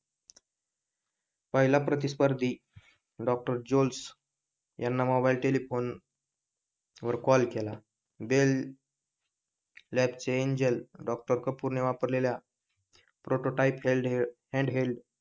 पहिला प्रतिस्पर्धी doctor Jules यांना मोबाईल टेलेफोन वर कॉल केला